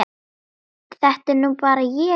Þetta er nú bara ég!